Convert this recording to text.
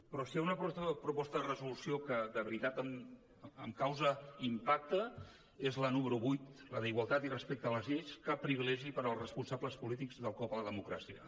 però si hi ha una proposta de resolució que de veritat em causa impacte és la número vuit la d’ igualtat i respecte a les lleis cap privilegi per als responsables polítics del cop a la democràcia